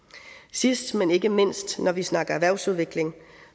sidst men ikke mindst når vi snakker erhvervsudvikling